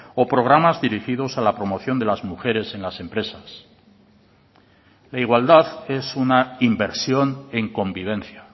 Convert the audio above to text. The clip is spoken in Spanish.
o programas dirigidos a la promoción de las mujeres en las empresas la igualdad es una inversión en convivencia